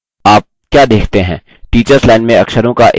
teachers line में अक्षरों का एक समूह प्रदर्शित होता है